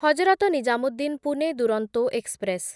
Hazrat Nizamuddin Pune Duronto express